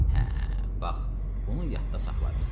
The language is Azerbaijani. Hə, bax bunu yadda saxlarıq.